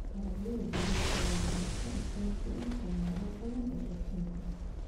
Dalagyada bariiska waa cunto aasaasi ah meelo badan oo aduunka ah.